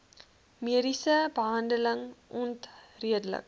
mediese behandeling onredelik